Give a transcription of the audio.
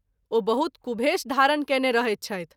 ओ बहुत कुभेष धारण कएने रहैत छथि।